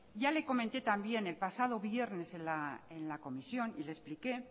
ya le comenté también el pasado viernes en la comisión y le expliqué